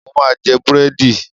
Mo máa jẹ búrẹ́dì.